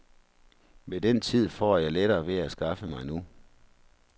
Men den tid får jeg lettere ved at skaffe mig nu.